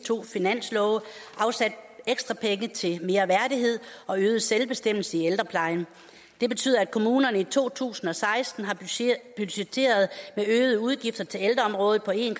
to finanslove afsat ekstra penge til mere værdighed og øget selvbestemmelse i ældreplejen det betyder at kommunerne i to tusind og seksten har budgetteret med øgede udgifter til ældreområdet på en